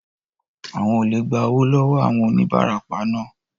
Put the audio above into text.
Àwọn olè gba owó lọ wọọ àwọn onibarapa naa